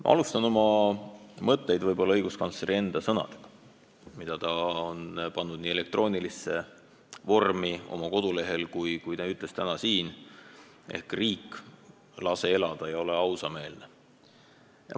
Ma alustan oma kõnet õiguskantsleri enda sõnadega, mida me oleme võinud lugeda elektroonilises vormis tema kodulehelt ja mis ta ütles täna ka siin: "Riik, lase elada ja ole ausameelne!